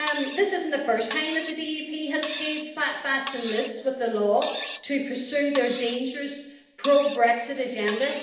This isn't the first time that the DUP has played fast and loose with the law to pursue their dangerous pro Brexit agenda.